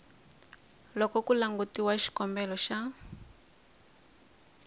loko ku langutiwa xikombelo xa